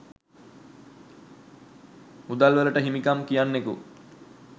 මුදල්වලට හිමිකම් කියන්නෙකු